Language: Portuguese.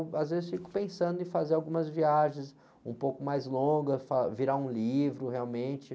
Eu, às vezes, fico pensando em fazer algumas viagens um pouco mais longas, fa, virar um livro realmente.